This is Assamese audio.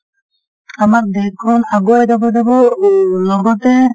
আমাৰ দেশখন আগুৱাই যাব যাব ও লগতে